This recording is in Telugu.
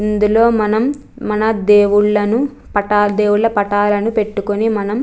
ఇందులో మనం మన దేవుళ్లను పటాల దేవుళ్ళ పటాలను పెట్టుకొని మనం --